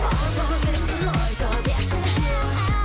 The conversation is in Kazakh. айта берсін айта берсін жұрт